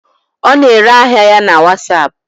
Ọ na-ere ahịa ya na wasapụ.